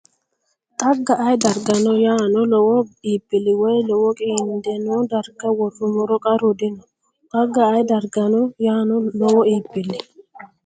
Xagga ayee dargano yaano lowo iibbilli woy lowo qiinde noo darga worrummoro qarru dino Xagga ayee dargano yaano lowo iibbilli.